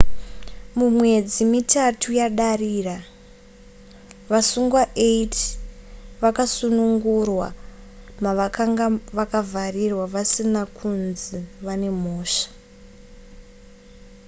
mumwedzi mitatu yadarira vasungwa 80 vakasunungurwa mavakanga vakavharirwa vasina kunzi vane mhosva